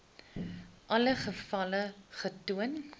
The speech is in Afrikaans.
alle gevalle getoon